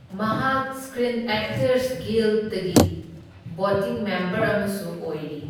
ꯃꯍꯥꯛ screen actors ꯒꯤꯜꯗꯒꯤ voting member ꯑꯃꯁꯨ ꯑꯣꯏꯔꯤ꯫